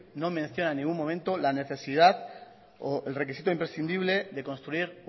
no menciona en ningún momento la necesidad o el requisito imprescindible de construir